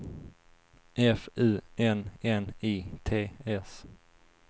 F U N N I T S